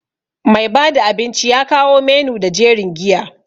Mai bada abinci ya kawo menu da jerin giya.